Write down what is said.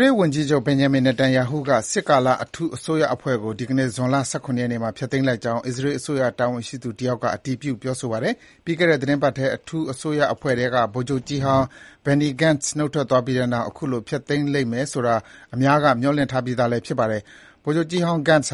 ရေးဝန်ကြီးချုပ် Benjamin Netanyahu က စစ်ကာလ အထူးအစိုးရအဖွဲ့ကို ဒီကနေ့ ဇွန်လ ၁၇ ရက်နေ့မှာ ဖျက်သိမ်းလိုက်ကြောင်း အစ္စရေးအစိုးရ တာဝန်ရှိသူ တယောက်က အတည်ပြု ပြောဆိုပါတယ်။ ပြီးခဲ့တဲ့ သီတင်းပတ်ထဲ အထူးအစိုးရအဖွဲ့ထဲက ဗိုလ်ချုပ်ကြီးဟောင်း Benny Gantz နုတ်ထွက်သွားပြီးတဲ့နောက် အခုလို ဖျက်သိမ်းလိမ့်မယ်ဆိုတာ အများက မျှော်လင့်ထားပြီး ဖြစ်ပါတယ်။ ဗိုလ်ချုပ်ကြီးဟောင်း Gantz